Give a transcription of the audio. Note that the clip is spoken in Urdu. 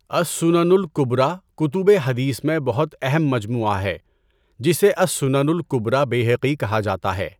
اَلسُّنَنُ الٔكُبْرىٰ کُتُبِ حدیث میں بہت اہم مجموعہ ہے جسے اَلسُّنَنُ الْکُبْریٰ بَیہَقِی کہا جاتا ہے۔